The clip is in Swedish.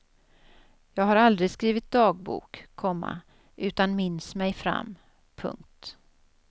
Jag har aldrig skrivit dagbok, komma utan minns mig fram. punkt